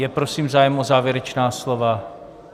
Je, prosím, zájem o závěrečná slova?